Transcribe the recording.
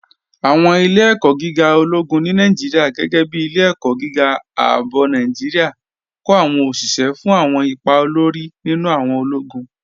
Awọn ilẹ̀-ẹ̀kọ̀ gígà ọlọ́gún ni Nàìjíríà, gẹgẹ́ bí Ilẹ̀-ẹ̀kọ̀ gígà Ààbọ̀ Nàìjíríà, kọ awọn oṣiṣẹ́ fún awọn ìpà òlórí nínu awọn ọlọ́gún.